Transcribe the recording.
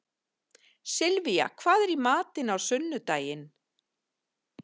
Sylvía, hvað er í matinn á sunnudaginn?